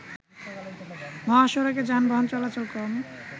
মহাসড়কে যানবাহন চলাচল কম